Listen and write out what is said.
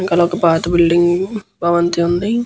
వెనకాల ఒక పాత బిల్డింగ్ భవంతి వుంది.